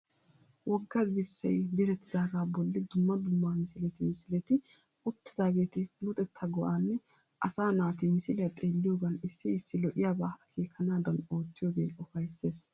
Wogga dirssay direttidaagaa bolli dumma dumma misileti misileti uttidaageeti luxettaa go"aanne asaa naati misiliya xeelliyogan issi issi lo"iyabaa akeekanaadan oottiyogee ufayssees.